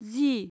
जि